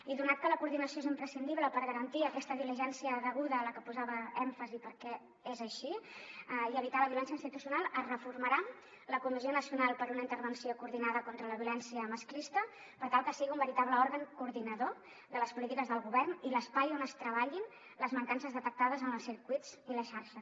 i donat que la coordinació és imprescindible per garantir aquesta diligència deguda a la que posava èmfasi perquè és així i evitar la violència institucional es reformarà la comissió nacional per a una intervenció coordinada contra la violència masclista per tal que sigui un veritable òrgan coordinador de les polítiques del govern i l’espai on es treballin les mancances detectades en els circuits i la xarxa